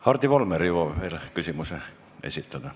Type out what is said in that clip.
Hardi Volmer jõuab veel küsimuse esitada.